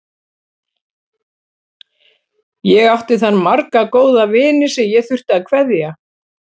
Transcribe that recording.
Ég átti þar marga góða vini sem ég þurfti að kveðja.